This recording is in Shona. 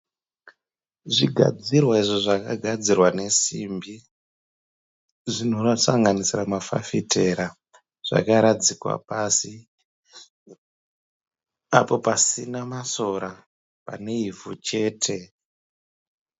Zvigadzirwa izvo zvakagadzirwa nesimbi zvinosanganisira mafafitera zvakaradzikwa pasi apo pasina masora pane ivhu chete.